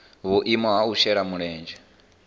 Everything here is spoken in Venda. vhuimo ha u shela mulenzhe